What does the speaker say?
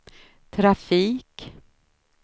trafik